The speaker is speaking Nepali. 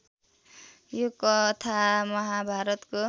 यो कथा महाभारतको